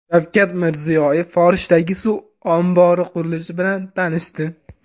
Shavkat Mirziyoyev Forishdagi suv ombori qurilishi bilan tanishdi.